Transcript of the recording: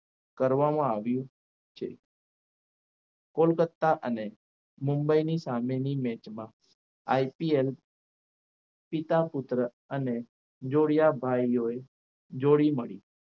કરવામાં આવ્યું છે કોલકત્તા અને મુંબઈની સામેની મેચમાં IPL પિતા પુત્ર અને જોડિયા ભાઈઓએ જોડી મળી.